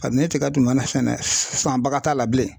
Kabini tiga tun mana sɛnɛ sanbaga t'a la bilen.